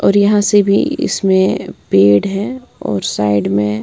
और यहां से भी इसमें पेड़ हैं और साइड में--